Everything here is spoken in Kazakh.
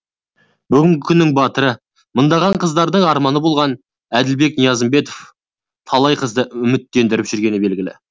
бүгінгі күннің батыры мыңдаған қыздардың арманы болған әділбек ниязымбетов талай қызды үміттендіріп жүргені белгілі